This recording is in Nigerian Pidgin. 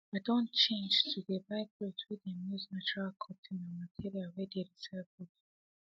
i don change to dey buy cloths whey them use natural cotton and materials whey dey recycled